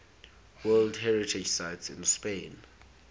world heritage sites in spain